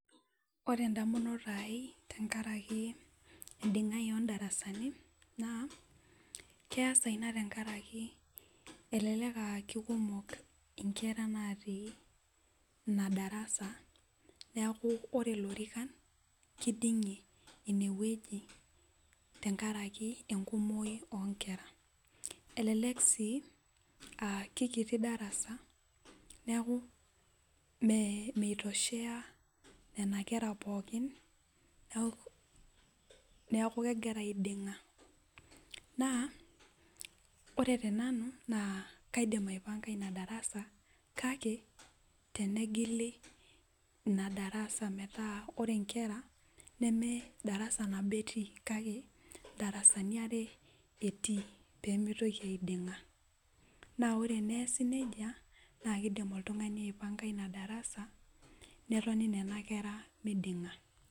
Ore ndamunot aai tenkaraki ndingai ondarasani na keasa inabtenkaraki elelek a kekumok nkera natii ina darasa neaku ore lorikan kidingie inewueji tenkaraki enkumoi onkera elelek si akekiti darasa neaku mitoshea nona kera pooki neaku egira aidinga naaore tenanu kaidim aipanga inadarasa kake tenegili inadarasa metaa ore nkera medarasa nabo etii kake ndarasani are etii pimitoki aidinga na orepias nejia nakidim oltungani aipanga ina darasa netoni nona kera midinga